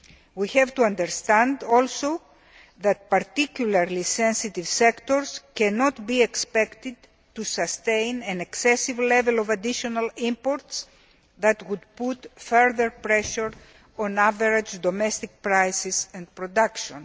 that. We have to understand also that particularly sensitive sectors cannot be expected to sustain an excessive level of additional imports that would put further pressure on average domestic prices and production.